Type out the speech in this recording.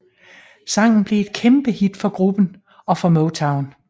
Sangen blev et kæmpehit for gruppen og for Motown